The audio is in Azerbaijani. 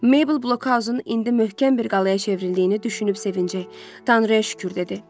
Mabel blokhausun indi möhkəm bir qalaya çevrildiyini düşünüb sevinəcək Tanrıya şükür dedi.